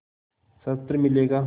शस्त्र मिलेगा